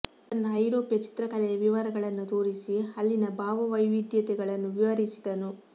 ತನ್ನ ಐರೋಪ್ಯ ಚಿತ್ರಕಲೆಯ ವಿವರಗಳನ್ನು ತೋರಿಸಿ ಅಲ್ಲಿನ ಭಾವ ವೈವಿಧ್ಯತೆಗಳನ್ನು ವಿವರಿಸಿದನು